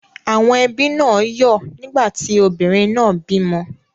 Àwọn ẹbí náà yọ́ ọ̀ nígbà tí obìnrin náà bímọ.